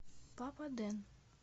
папа дэн